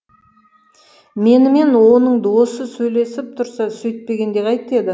менімен оның досы сөйлесіп тұрса сөйтпегенде қайтеді